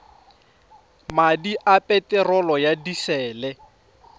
madi a peterolo ya disele